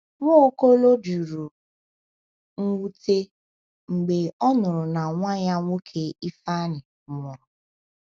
Nwaokolo jụrụ mwute mgbe ọ nụrụ na nwa ya nwoke Ifeanyi nwụrụ.